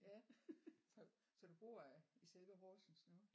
Ja så så du bor i selve Horsens nu?